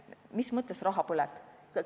Mis mõttes raha põleb?